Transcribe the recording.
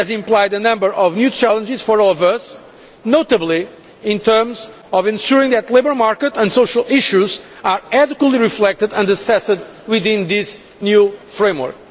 This has implied a number of new challenges for all of us, notably in terms of ensuring that the labour market and social issues are adequately reflected and assessed within this new framework.